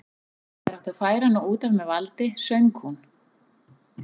Þegar átti að færa hana út af með valdi söng hún